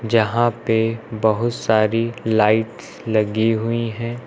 जहां पे बहुत सारी लाइट्स लगी हुई है।